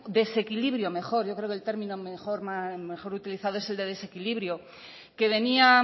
desequilibrio mejor yo creo que el término mejor utilizado es el de desequilibrio que venía